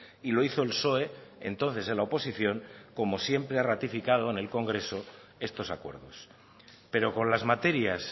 y lo hizo el psoe entonces en la oposición como siempre ha ratificado en el congreso estos acuerdos pero con las materias